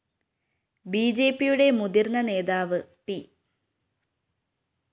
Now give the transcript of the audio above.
ബിജെപിയുടെ മുതിര്‍ന്ന നേതാവ്‌ പി